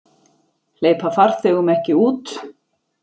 Hleypa farþegum ekki út